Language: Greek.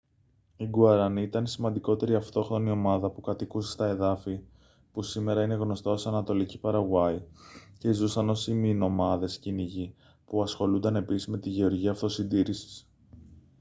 οι γκουαρανί ήταν η σημαντικότερη αυτόχθονη ομάδα που κατοικούσε στα εδάφη που σήμερα είναι γνωστά ως ανατολική παραγουάη και ζούσαν ως ημινομάδες κυνηγοί που ασχολούνταν επίσης με τη γεωργία αυτοσυντήρησης